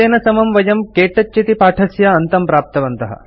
एतेन समं वयं के टच इति पाठस्य अन्तं प्राप्तवन्तः